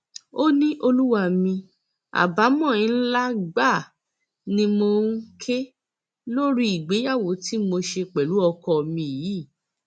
ó ní olúwa mi àbámọ ńlá gbáà ni mò ń ké lórí ìgbéyàwó tí mo ṣe pẹlú ọkọ mi yìí